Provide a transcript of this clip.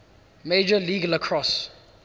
major league lacrosse